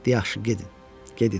Yaxşı, gedin, gedin.